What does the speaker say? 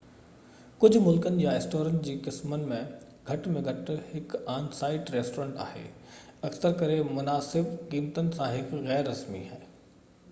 ڪجھ ملڪن يا اسٽورن جي قسمن ۾ گهٽ ۾ گهٽ هڪ آن-سائيٽ ريسٽورينٽ آهي اڪثر ڪري مناسب قيمتن سان هڪ غير رسمي